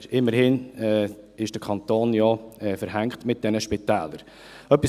Immerhin ist der Kanton ja mit diesen Spitälern verbandelt.